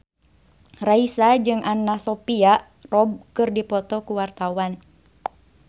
Raisa jeung Anna Sophia Robb keur dipoto ku wartawan